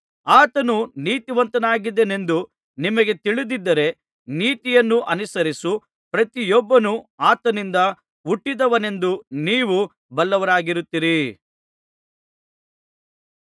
ಆತನು ನೀತಿವಂತನಾಗಿದ್ದಾನೆಂಬುದು ನಿಮಗೆ ತಿಳಿದಿದ್ದರೆ ನೀತಿಯನ್ನು ಅನುಸರಿಸುವ ಪ್ರತಿಯೊಬ್ಬನು ಆತನಿಂದ ಹುಟ್ಟಿದವನೆಂದು ನೀವು ಬಲ್ಲವರಾಗಿರುತ್ತೀರಿ